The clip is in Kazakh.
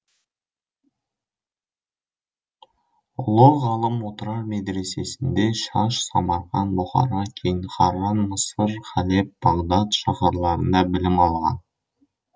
ұлы ғалым отырар медресесінде шаш самарқан бұхара кейін харран мысыр халеб бағдат шаһарларында білім алған